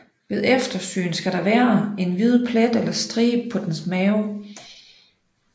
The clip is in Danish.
Ved eftersyn skal der være en hvid plet eller stribe på dens mave